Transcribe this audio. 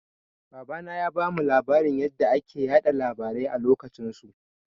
Babana ya bamu labarin yanda ake yaɗa labarai a lokacin su.